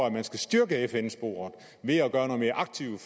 at man skal styrke fn sporet ved at gøre noget mere aktivt